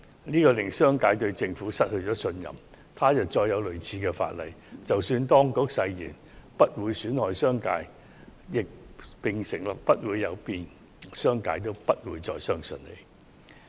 這令商界對政府失去信任，他日再要制定類似法例時，即使當局誓言不會損害商界利益，並承諾不會有變，商界也不會再相信。